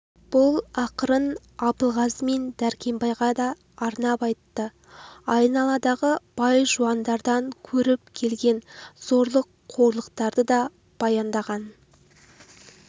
бұл ақырын абылғазы мен дәркембайға да арнап айтты айналадағы бай-жуандардан көріп келген зорлық қорлықтарды да баяндаған